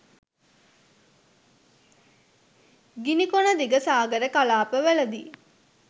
ගිනිකොන දිග සාගර කලාපවලදී